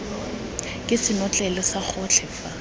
ke senotlele sa gotlhe fa